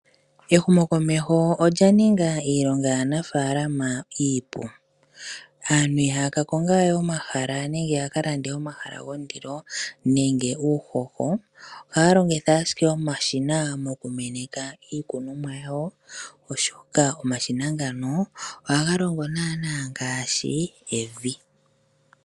Ehumo komeho olya ninga iilonga yaanafaalama iipu, aantu ihaya ka konga we omahala nenge yaka lande omahala gondilo nenge uuhoho. Ohaya longitha ashike omashina mokumeneka iikunomwa yawo, oshoka omashina ngano ohaga longo naanaa ngaashi evi.